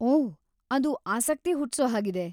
ಓಹ್, ಅದು ಆಸಕ್ತಿ ಹುಟ್ಸೋ ಹಾಗಿದೆ.